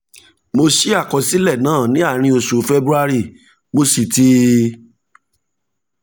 mo ṣí àkọsílẹ̀ náà ní àárín oṣù february mo sì ti